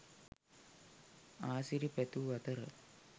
ආසිරි පැතූ අතර